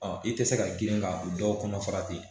Ɔ i tɛ se ka girin ka dɔw kɔnɔ fara ten